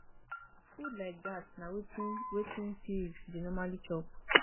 food like dat na wetin wetin pigs dey normally chop